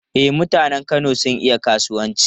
E, mutanen Kano sun iya kasuwanci.